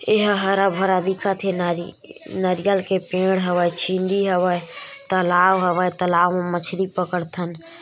एहा हरा-भरा दिखत हे नरी नरियल के पेड़ हवय छिंदी हवय तलाव हवय तलाव म मछरी पकड़थन--